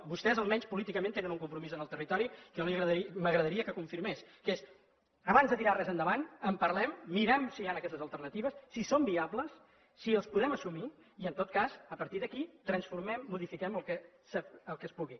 vostès almenys políticament tenen un compromís en el territori que a mi m’agradaria que confirmés que és abans de tirar res endavant en parlem mirem si hi han aquestes alternatives si són viables si les podem assumir i en tot cas a partir d’aquí transformem modifiquem el que es pugui